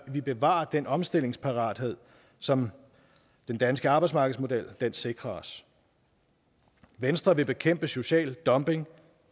vi bevarer den omstillingsparathed som den danske arbejdsmarkedsmodel sikrer os venstre vil bekæmpe social dumping